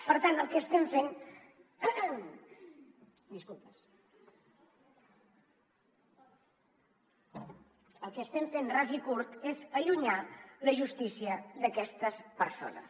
per tant el que estem fent ras i curt és allunyar la justícia d’aquestes persones